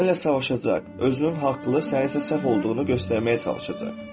Səninlə savaşacaq, özünün haqlı, sənin isə səhv olduğunu göstərməyə çalışacaq.